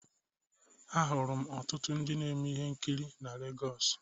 Ahụrụ m ka ọtụtụ ndị na-eme ihe nkiri na Lagos.